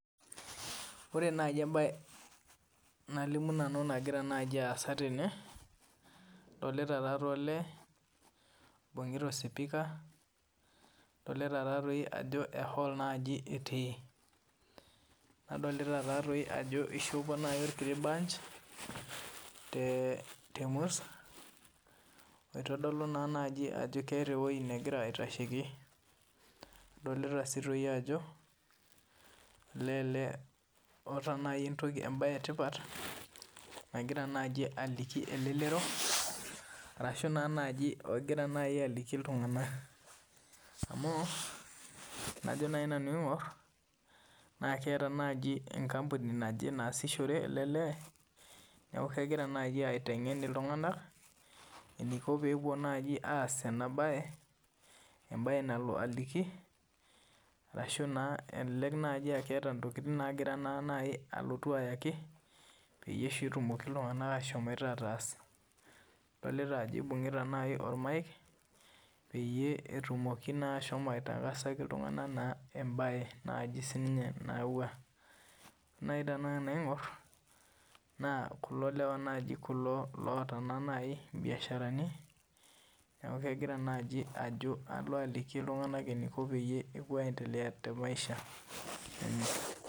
Ore naaji mbae nalimu nanu naagira asaa tene adolita olee oibungita osipika adolita Ajo ehall etii adolita Ajo eshopo orkiti bunch tee murt oitodolu Ajo keeta ewueji negira aitasheki adolita sii Ajo olee ele otaa mbae etipat nagira naaji aliki elelero ashu egira naaji aliki iltung'ana amu tenajo naanu aing'or naa keeta enkampuni naaje nasisishore ele lee neeku kegira naaji aiteng'en iltung'ana anaiki pee epuo asishoree ena mbae embae nalotu aliki ashu aa kelelek etaa ntokitin nayewuo ayaki peetum iltung'ana ashom ataas adolita Ajo eibungita naaji ormike peetumoki ashomo aitarasaki iltung'ana ebae nayawua naa tenaing'or kulo lewa naaji otaa biasharani neeku kegira naaji Ajo aliki iltung'ana eniko pee epuo aendelea tee maisha